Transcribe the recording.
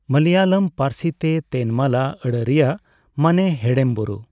ᱢᱟᱞᱚᱭᱟᱞᱚᱢ ᱯᱟᱹᱨᱥᱤ ᱛᱮ 'ᱛᱮᱱᱢᱟᱞᱟ' ᱟᱹᱲᱟᱹ ᱨᱮᱭᱟᱜ ᱢᱟᱱᱮ ᱦᱮᱲᱮᱢ ᱵᱩᱨᱩ ᱾